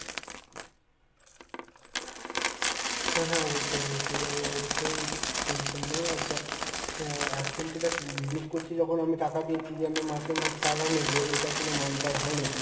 হ্যাঁ হ্যাঁ অবশ্যই অবশ্যই যাব অবশ্যই tension নেই আর দেখ এর এখন তো দেখ business করছি যখন আমি টাকা দিয়েছি যে আমি মাসে মাসে টাকা নেব এটা কোনো মানে তাই হয় নাকি?